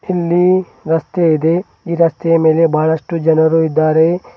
ಇಲ್ಲಿ ರಸ್ತೆ ಇದೆ ಈ ರಸ್ತೆಯ ಮೇಲೆ ಬಹಳಷ್ಟು ಜನರು ಇದ್ದಾರೆ.